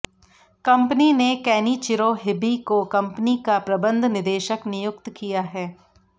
company ने Kenichiro Hibi को company का प्रबंध निदेशक नियुक्त किया है